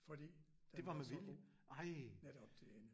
Fordi den var så god netop til hende